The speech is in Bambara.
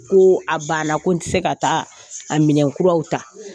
Ko a banna ko n tɛ se ka taa a minɛn kuraw ta